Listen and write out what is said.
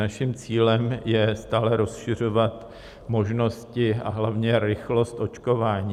Naším cílem je stále rozšiřovat možnosti, a hlavně rychlost očkování.